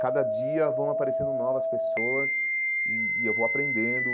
Cada dia vão aparecendo novas pessoas e e eu vou aprendendo.